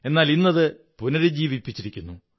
എന്നാൽ ഇന്നത് പുനരുജ്ജീവിച്ചിരിക്കുന്നു